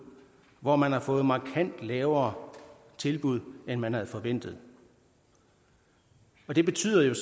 hvor man har fået markant lavere tilbud end man havde forventet det betyder jo